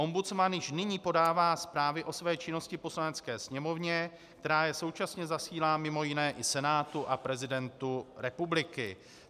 Ombudsman již nyní podává zprávy o své činnosti Poslanecké sněmovně, která je současně zasílá mimo jiné i Senátu a prezidentu republiky.